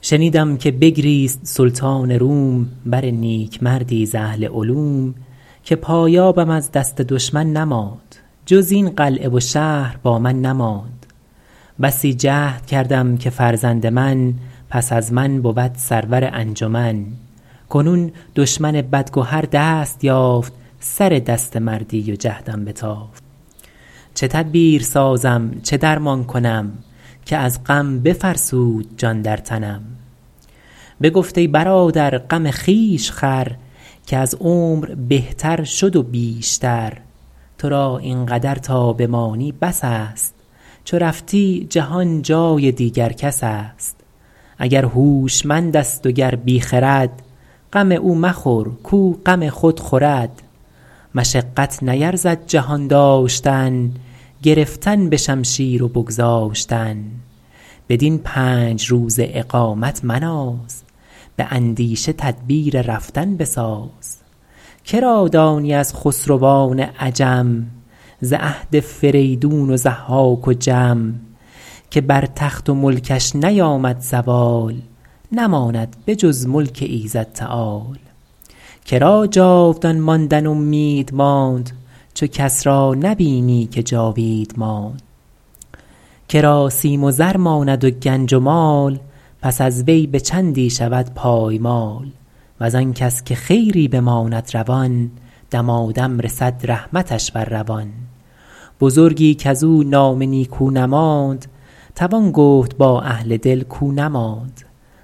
شنیدم که بگریست سلطان روم بر نیکمردی ز اهل علوم که پایابم از دست دشمن نماند جز این قلعه و شهر با من نماند بسی جهد کردم که فرزند من پس از من بود سرور انجمن کنون دشمن بدگهر دست یافت سر دست مردی و جهدم بتافت چه تدبیر سازم چه درمان کنم که از غم بفرسود جان در تنم بگفت ای برادر غم خویش خور که از عمر بهتر شد و بیشتر تو را این قدر تا بمانی بس است چو رفتی جهان جای دیگر کس است اگر هوشمند است و گر بی خرد غم او مخور کاو غم خود خورد مشقت نیرزد جهان داشتن گرفتن به شمشیر و بگذاشتن بدین پنج روزه اقامت مناز به اندیشه تدبیر رفتن بساز که را دانی از خسروان عجم ز عهد فریدون و ضحاک و جم که بر تخت و ملکش نیامد زوال نماند به جز ملک ایزد تعال که را جاودان ماندن امید ماند چو کس را نبینی که جاوید ماند که را سیم و زر ماند و گنج و مال پس از وی به چندی شود پایمال وز آن کس که خیری بماند روان دمادم رسد رحمتش بر روان بزرگی کز او نام نیکو نماند توان گفت با اهل دل کاو نماند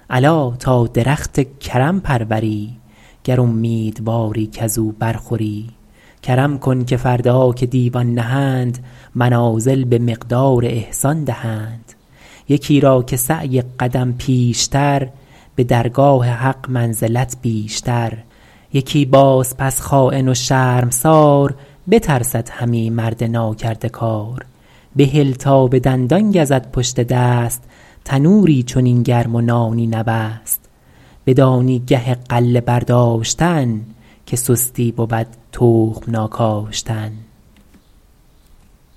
الا تا درخت کرم پروری گر امیدواری کز او بر خوری کرم کن که فردا که دیوان نهند منازل به مقدار احسان دهند یکی را که سعی قدم پیشتر به درگاه حق منزلت بیشتر یکی باز پس خاین و شرمسار بترسد همی مرد ناکرده کار بهل تا به دندان گزد پشت دست تنوری چنین گرم و نانی نبست بدانی گه غله برداشتن که سستی بود تخم ناکاشتن